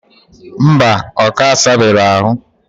Mba, oka asabe ro ahu.